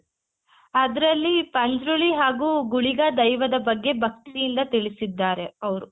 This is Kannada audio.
ಆದ್ರಲ್ಲಿ ಪಂಜ್ರುಲಿ ಹಾಗೂ ಗುಳಿಗ ದೈವದ ಬಗ್ಗೆ ಭಕ್ತಿಯಿಂದ ತಿಳಿಸಿದ್ದಾರೆ ಅವ್ರು